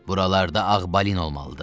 Buralarda ağ balin olmalıdır.